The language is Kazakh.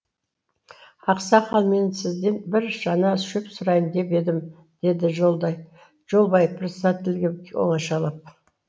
ақсақал мен сізден бір шана шөп сұрайын деп едім деді жолбай председательге оңашалап